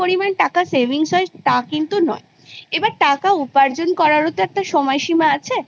পরিমাণ টাকা savings হয় তা কিন্তু নয়। এবার টাকা উপার্জন করারও তো সময় সীমা আছে I যতক্ষন আমাদের বয়স আছে মানে